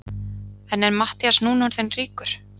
En er Matthías núna orðinn ríkur?